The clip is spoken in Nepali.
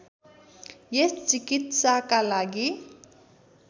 यस चिकित्साका लागि